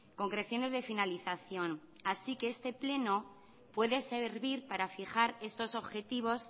concreciones de finalización así que este pleno puede servir para fijar estos objetivos